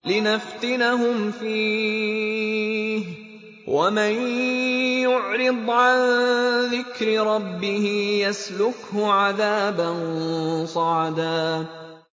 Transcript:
لِّنَفْتِنَهُمْ فِيهِ ۚ وَمَن يُعْرِضْ عَن ذِكْرِ رَبِّهِ يَسْلُكْهُ عَذَابًا صَعَدًا